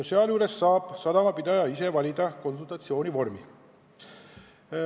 Seejuures saab sadamapidaja ise valida konsultatsiooni vormi.